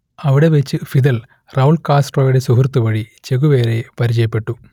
അവിടെ വെച്ച് Fidel Raul കാസ്ട്രോയുടെ സുഹൃത്തു വഴി ചെഗുവേരയെ പരിചയപ്പെട്ടു